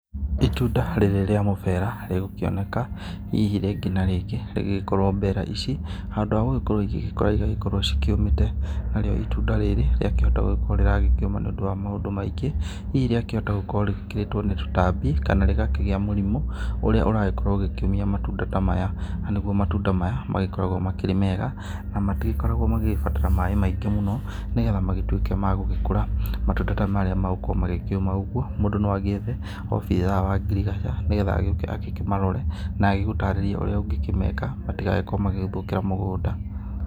Itunda rĩrĩ rĩa mũbera rĩgũkioneka hihi rĩngĩ na rĩngĩ rĩgĩgĩkorwo mbera ici handũ ha gũgĩkorwo cigĩkũra, cigagĩkorwo ci kĩũmĩte. Narĩo itunda rĩrĩ, rĩakĩhota gũkorwo rĩrakĩũma nĩ ũndũ wa maũndũ maingĩ. Hihi rĩakĩhota gũkorwo rĩgĩkĩrĩtwo nĩ tũtambi, kana rĩgakĩgia mũrimũ ũrĩa ũragĩkorwo ũgĩkĩũmia matunda ta maya, na nĩguo matunda maya magĩkoragwo makĩrĩ mega, na matigĩkoragwo magĩgĩbatara maaĩ maingĩ mũno nĩgetha magĩtuĩke ma gũgĩkũra. Matunda ta marĩa magũkorwo magĩkĩũma ũguo, mũndũ no agĩethe obithaa wa ngirigaca nĩgetha agĩuke agĩkĩmarore, na agũtarĩrie ũrĩa ũngĩkĩmeka nĩgetha matigakorwo magĩgĩthũkĩra mũgũnda.